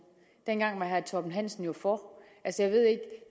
dengang var herre torben hansen jo for